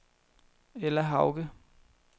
Ella Hauge